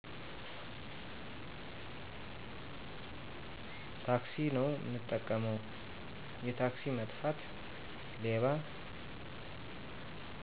ታክሲ ነው ምጠቀመው፦ የታክሲ መጥፋት፣ ሌባ